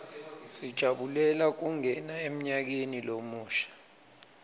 sijabulela kungena emnyakeni lomusha